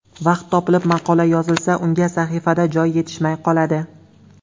Vaqt topilib maqola yozilsa unga sahifada joy yetishmay qoladi.